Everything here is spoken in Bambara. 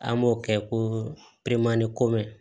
An b'o kɛ ko pemani komɛ